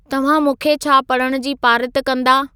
तव्हां मूंखे छा पढ़ण जी पारित कंदा